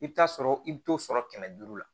I bɛ taa sɔrɔ i bɛ t'o sɔrɔ kɛmɛ duuru la